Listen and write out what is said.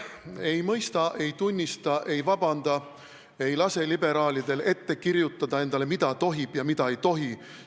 Ei mõista, ei tunnista, ei palu vabandust, ei lase liberaalidel endale ette kirjutada, mida tohib ja mida ei tohi.